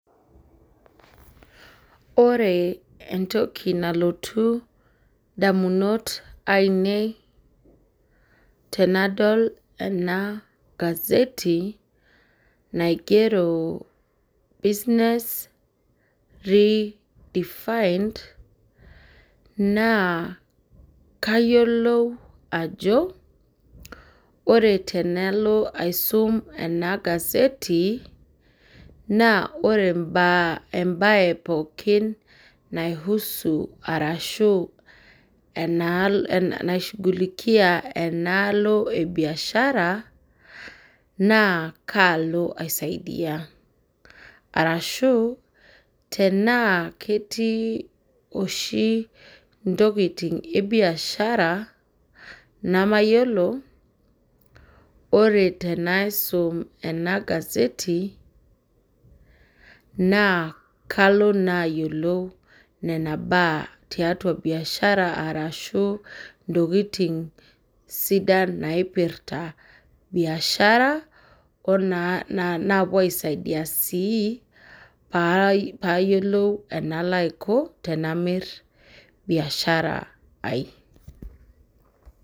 Ore entoki nalotu indamunot ainei tenadol ena gazeti, naigero business redefined, naa kayiolou ajo, ore tenalo aisum ena gazeti, naa ore mbaa ebae pookin nai husu arashu enaishughulikia enalo ebiashara, naa kaalo aisaidia. Arashu, tenaa ketii oshi intokiting' ebiashara namayiolo, ore tenaisum ena gazeti, naa kalo naa ayiolou nena baa tiatua biashara arashu, intokiting' sidan naipirta biashara, onaa napuo aisaidia si, payiolou enalo aiko tenamir biashara ai.